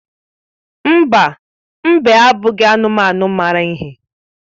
Mba, mbe abụghị anụmanụ mara ihe.